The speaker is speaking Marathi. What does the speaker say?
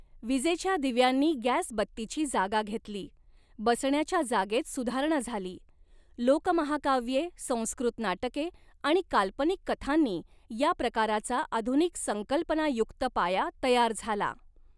विजेच्या दिव्यांनी गॅसबत्तीची जागा घेतली, बसण्याच्या जागेत सुधारणा झाली, लोकमहाकाव्ये, संस्कृत नाटके आणि काल्पनिक कथांनी या प्रकाराचा आधुनिक संकल्पनायुक्त पाया तयार झाला.